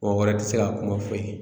Mɔgɔ wɛrɛ tɛ se ka kuma foyi ye